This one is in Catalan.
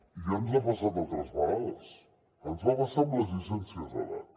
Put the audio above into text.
i ja ens ha passat altres vegades ens va passar amb les llicències d’edat